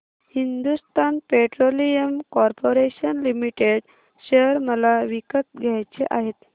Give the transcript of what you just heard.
Hindustan petroleum corporation limited share मला विकत घ्यायचे आहेत